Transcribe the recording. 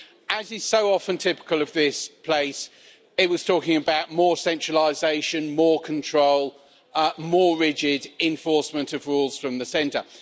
As is so often typical of this place, it was talking about more centralisation, more control, more rigid enforcement of rules from the centre.